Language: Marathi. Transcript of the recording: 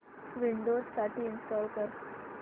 विंडोझ साठी इंस्टॉल कर